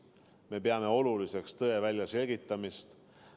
Me peame oluliseks tõe väljaselgitamist.